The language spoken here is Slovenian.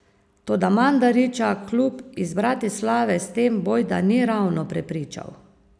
Toda Mandarića klub iz Bratislave s tem bojda ni ravno prepričal.